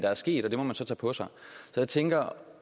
er sket og det må man så tage på sig så jeg tænker